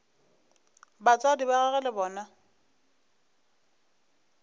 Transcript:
batswadi ba gagwe le bona